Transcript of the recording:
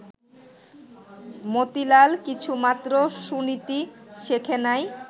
মতিলাল কিছুমাত্র সুনীতি শেখে নাই